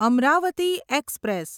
Amravati express